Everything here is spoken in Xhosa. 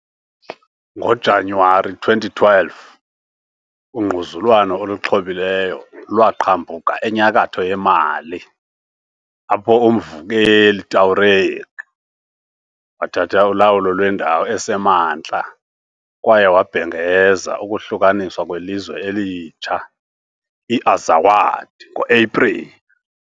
NgoJanuwari 2012 , ungquzulwano oluxhobileyo lwaqhambuka enyakatho yeMali, apho umvukeli uTuareg wathatha ulawulo lwendawo esemantla, kwaye wabhengeza ukuhlukaniswa kwelizwe elitsha, i-Azawad, ngo-Epreli.